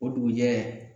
O dugujɛ